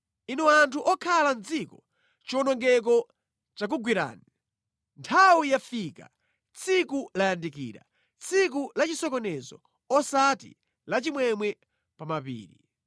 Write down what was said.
Inu anthu okhala mʼdziko, chiwonongeko chakugwerani. Nthawi yafika, tsiku layandikira; tsiku la chisokonezo osati la chimwemwe pa mapiri.